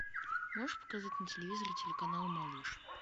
можешь показать на телевизоре телеканал малыш